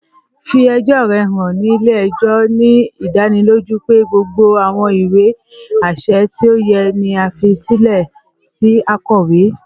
Fi ẹjọ rẹ han ni ile-ẹjọ, ni idaniloju pe gbogbo awọn iwe aṣẹ ti o yẹ ni a fi silẹ si akowe